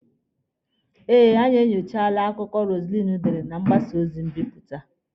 Eh, anyị enyochaala akụkọ Roselyn dere na mgbasa ozi mbipụta.